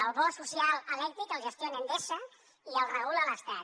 el bo social elèctric el gestiona endesa i el regula l’estat